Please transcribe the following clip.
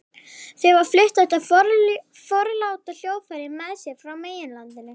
Þau hafa flutt þetta forláta hljóðfæri með sér frá meginlandinu.